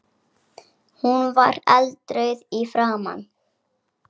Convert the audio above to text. Hún var eldrauð í framan.